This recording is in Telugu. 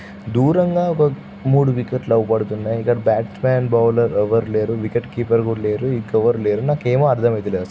దూరంగా ఓకా మూడు వికెట్లు అగుపడుతున్నాయి. ఇంకా బ్యాట్మన్ బౌలర్ ఎవరు లేరు.వికెట్ కీపర్ కూడా లేరు.ఇంకా ఎవరు లేరు.నాకు ఏమి అర్ధం ఐత లే--